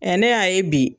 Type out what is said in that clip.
ne y'a ye bi